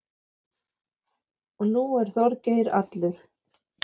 Og nú er Þorgeir allur.